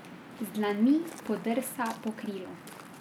Z dlanmi podrsa po krilu.